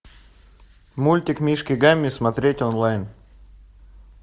мультик мишки гамми смотреть онлайн